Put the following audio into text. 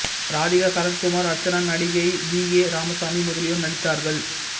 ராதிகா சரத்குமார் அர்ச்சனா நடிகை V K Ramasamy முதலியோர் நடித்தார்கள்